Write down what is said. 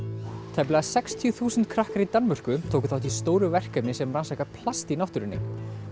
tæplega sextíu þúsund krakkar í Danmörku tóku þátt í stóru verkefni sem rannsakar plast í náttúrunni